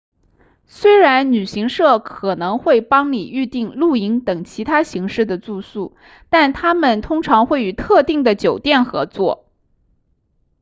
虽然旅行社可能会帮你预订露营等其他形式的住宿但他们通常会与特定的酒店合作